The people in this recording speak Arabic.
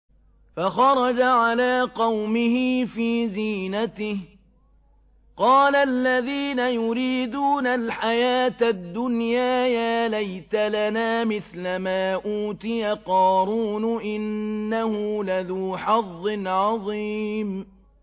فَخَرَجَ عَلَىٰ قَوْمِهِ فِي زِينَتِهِ ۖ قَالَ الَّذِينَ يُرِيدُونَ الْحَيَاةَ الدُّنْيَا يَا لَيْتَ لَنَا مِثْلَ مَا أُوتِيَ قَارُونُ إِنَّهُ لَذُو حَظٍّ عَظِيمٍ